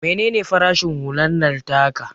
Mene ne farashin hular nan taka?